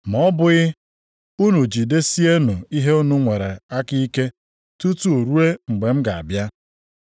ma ọ bụghị, unu jidesienụ ihe unu nwere aka ike tutu ruo mgbe m ga-abịa.’